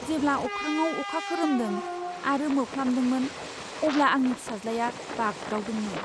जेब्ला अख्राङाव अखा खोरोमदों आरो मोफ्लामदोंमोन अब्ला आंनि फिसाज्लाया बाग्दावदोंमोन।